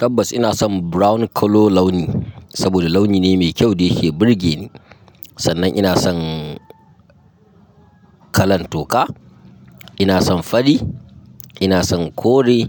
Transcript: Tabbas ina son brown colour launi saboda launi ne mai kyau da yake burge ni. Sannan ina son kalan toka, ina son fari, ina son kore